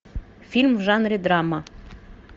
фильм в жанре драма